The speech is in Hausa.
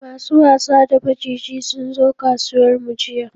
Masu wasa da maciji sunzo kasuwar mu jiya